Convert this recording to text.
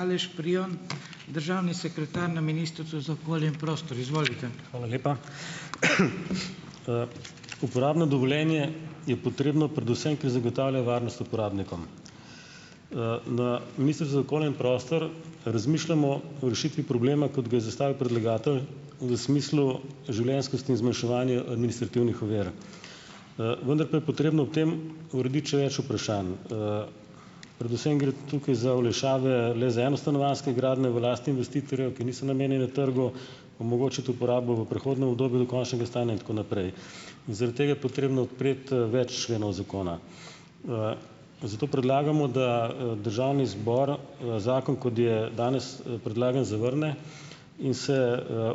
Hvala lepa. uporabno dovoljenje je potrebno predvsem, ker zagotavlja varnost uporabnikom. na Ministrstvu za okolje in prostor razmišljamo o rešitvi problema, kot ga je zastavil predlagatelj v smislu življenjskosti in zmanjševanja administrativnih ovir. vendar pa je potrebno o tem urediti še več vprašanj. predvsem gre tukaj za olajšave le za enostanovanjske gradnje v lasti investitorjev, ki niso namenjene trgu, omogočiti uporabo v prehodnem obdobju do končnega stanja in tako naprej. Zaradi tega je potrebno odpreti več členov zakona. zato predlagamo, da, državni zbor, zakon, kot je danes, predlagan, zavrne, in se,